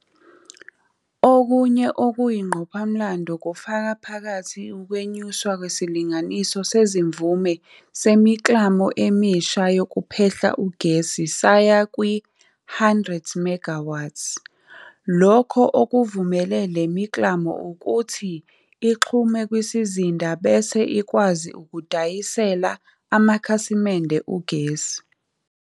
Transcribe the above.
Okunye okuyingqophamlando kufaka phakathi ukwenyuswa kwesilinganiso sezimvume semiklamo emisha yokuphehla ugesi saya kwi-100MW, lokho okuvumele le miklamo ukuthi ixhume kwisizinda bese ikwazi ukudayisela amakhasimende ugesi.